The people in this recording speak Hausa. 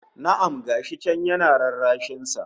Na'am! Ga shi can yana rarrashin sa